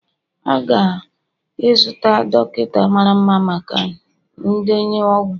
ga-aga izute dọkịta mara mma maka ndenye ọgwụ